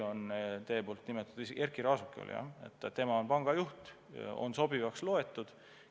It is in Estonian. Teie nimetatud Erkki Raasuke on jah panga juht, ta on sobivaks loetud.